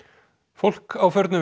fólk